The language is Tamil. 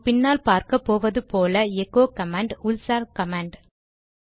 நாம் பின்னால் பார்க்கப்போவது போல எகோ கமாண்ட் உள்சார் கமாண்ட்